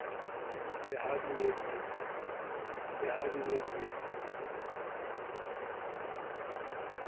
le ha di ne di